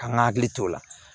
Ka n ka hakili t'o la